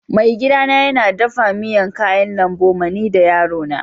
Maigida na yana dafan miyan kayan lambu ma ni da yaro na.